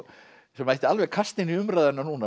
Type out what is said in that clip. sem mætti alveg kasta inn í umræðuna núna